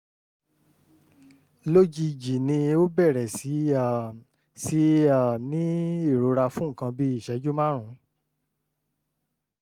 lójijì ni ó ń bẹ̀rẹ̀ sí um sí um í ní ìrora fún nǹkan bíi ìṣẹ́jú márùn-ún